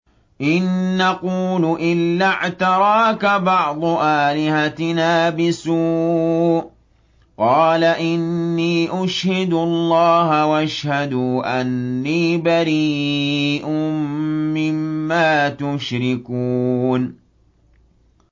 إِن نَّقُولُ إِلَّا اعْتَرَاكَ بَعْضُ آلِهَتِنَا بِسُوءٍ ۗ قَالَ إِنِّي أُشْهِدُ اللَّهَ وَاشْهَدُوا أَنِّي بَرِيءٌ مِّمَّا تُشْرِكُونَ